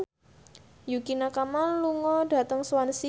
Yukie Nakama lunga dhateng Swansea